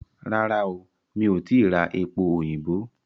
Rárá o, mi ò tìí ra epo òyìnbó?